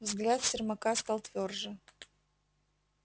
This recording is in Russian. взгляд сермака стал твёрже